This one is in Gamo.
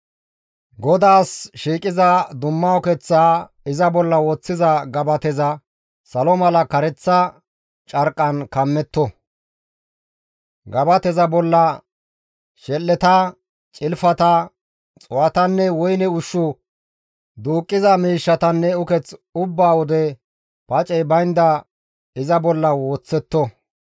«GODAAS shiiqiza dumma ukeththaa iza bolla woththiza gabateza salo misatiza kareththa carqqan kammetto; Gabateza bolla shel7eta, Cilfata, xuu7atanne woyne ushshu duuqqiza miishshatanne uketh ubba wode pacey baynda iza bolla woththetto.